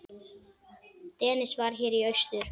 Dennis var hér í austur.